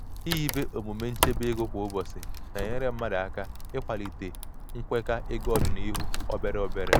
ihibe omume nchebe ego kwa ụbọchị na-enyere mmadụ aka ikwalite nkwekwa ego ọdịnuhụ obere obere.